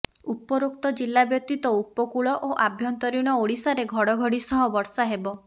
ଉପରୋକ୍ତ ଜିଲା ବ୍ୟତୀତ ଉପକୂଳ ଓ ଆଭ୍ୟନ୍ତରୀଣ ଓଡ଼ିଶାରେ ଘଡ଼ଘଡ଼ି ସହ ବର୍ଷା ହେବ